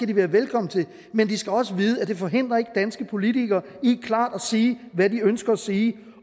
de være velkomne til men de skal også vide at det ikke forhindrer danske politikere i klart at sige hvad de ønsker at sige